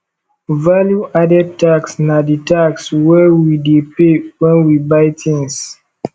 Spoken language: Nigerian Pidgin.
value added tax na di tax wey we dey pay when we buy things